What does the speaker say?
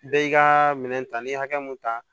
Bɛɛ y'i ka minɛn ta n'i ye hakɛ mun ta